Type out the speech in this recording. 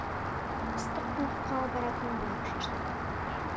ыстық бұлаққа баратын болып шештік